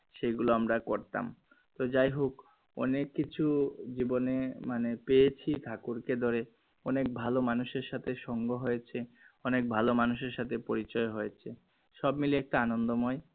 সেগুলো আমরা করতাম তো যাইহোক অনেক কিছু জীবনে মানে পেয়েছি ঠাকুরকে ধরে অনেক ভালো মানুষের সাথে সঙ্গ হয়েছে অনেক ভালো মানুষের সাথে পরিচয় হয়েছে সব মিলে একটা আনন্দ ময়